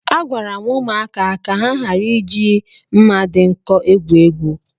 Agwara m ụmụaka ka ha ghara ị ji mma dị nkọ egwu egwu